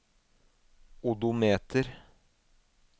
odometer